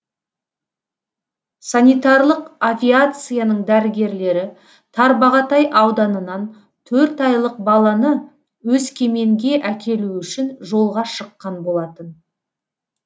санитарлық авиацияның дәрігерлері тарбағатай ауданынан төрт айлық баланы өскеменге әкелу үшін жолға шыққан болатын